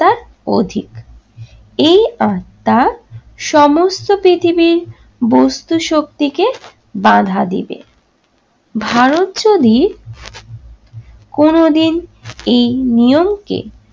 অধিক। এই আত্না সমস্ত পৃথিবীর বস্তু-শক্তিকে বাঁধা দিবে। ভারত যদি কোনদিন এই নিয়মকে